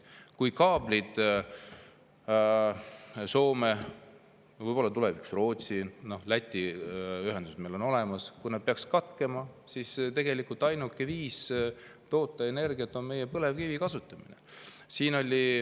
Kui kaablid Soomega, võib-olla tulevikus Rootsiga – no Läti ühendus on olemas – peaksid katkema, siis tegelikult ainuke viis toota energiat on meie põlevkivi kasutamine.